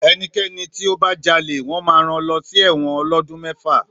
Èní kéní tí ó bá jálè, wõn má ràn lõsí èwõn òlódun mèfá